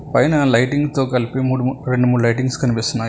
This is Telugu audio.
పైన లైటింగ్ తో కలిపి మూడు లైటింగ్స్ కనిపిస్తున్నాయి.